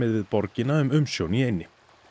við borgina um umsjón í eynni